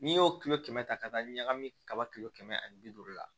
N'i y'o kilo kɛmɛ ta ka taa ɲagami kaba kilo kɛmɛ ani bi duuru la